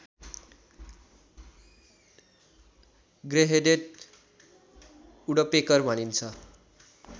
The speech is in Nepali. ग्रेहेडेड वुड्पेकर भनिन्छ